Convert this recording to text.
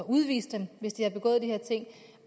udvise dem hvis de har begået de her ting